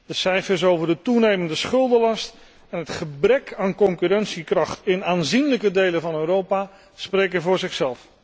De cijfers over de toenemende schuldenlast en het gebrek aan concurrentiekracht in aanzienlijke delen van Europa spreken voor zich.